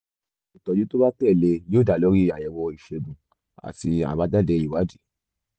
ìtọ́jú tó bá tẹ̀ lé e yóò dá lórí àyẹ̀wò ìṣègùn àti àbájáde ìwádìí